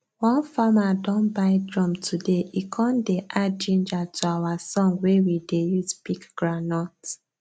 one farmer don buy drum todaye con dey add ginger to our song wey we dey use pick groundnut